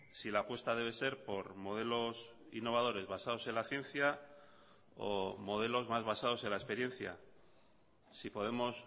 si la apuesta debe ser por modelos innovadores basados en la ciencia o modelos más basados en la experiencia si podemos